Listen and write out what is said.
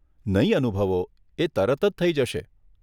નહીં અનુભવો, એ તરત જ થઇ જશે.